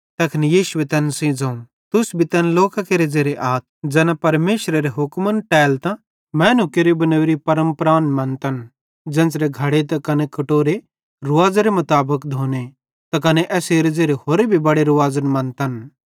तैखन यीशुए तैन सेइं ज़ोवं तुस भी तैन लोकां केरे ज़ेरे आथ ज़ैना परमेशरेरे हुक्मन टेलतां मैनू केरि बनोरी परमपरान मन्तन ज़ेन्च़रां घड़े त कने कटोरे रुवाज़ेरे मुताबिक धोने त कने एसेरे ज़ेरे होरे भी बड़े रूवाज़न मन्तथ